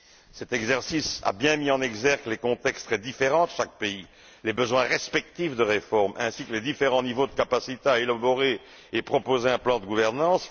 Cet exercice a bien mis en exergue les contextes très différents de chaque pays, les besoins respectifs de réforme ainsi que les différents niveaux de capacité à élaborer et proposer un plan de gouvernance.